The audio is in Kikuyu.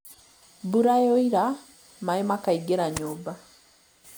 Mbura yoira maaĩ makaingĩra nyũmba